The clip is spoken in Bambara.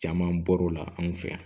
Caman bɔr'o la anw fɛ yan